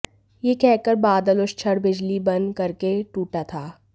यह कह कर बादल उस क्षण बिजली बन करके टुटा था